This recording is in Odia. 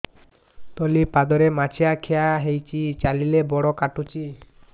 ତଳିପାଦରେ ମାଛିଆ ଖିଆ ହେଇଚି ଚାଲିଲେ ବଡ଼ କାଟୁଚି